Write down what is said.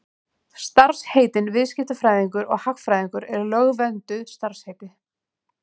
Starfsheitin viðskiptafræðingur og hagfræðingur eru lögvernduð starfsheiti.